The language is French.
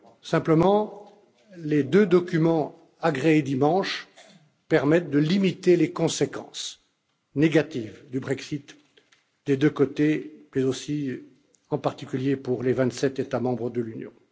Simplement, les deux documents agréés dimanche permettent de limiter les conséquences négatives du Brexit des deux côtés mais aussi, en particulier, pour les vingt sept États membres de l'Union.